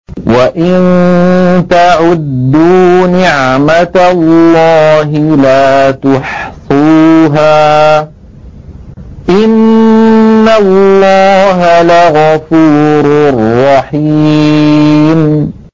وَإِن تَعُدُّوا نِعْمَةَ اللَّهِ لَا تُحْصُوهَا ۗ إِنَّ اللَّهَ لَغَفُورٌ رَّحِيمٌ